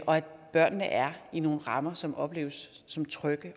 og at børnene er i nogle rammer som opleves som trygge